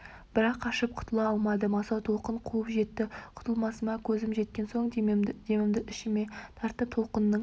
бірақ қашып құтыла алмадым асау толқын қуып жетті құтылмасыма көзім жеткен соң демімді ішіме тартып толқынның